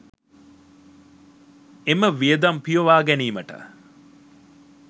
එම වියදම් පියවා ගැනීමට